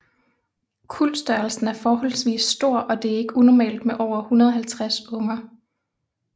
Kuldstørrelsen er forholdvis stor og det er ikke unormalt med over 150 unger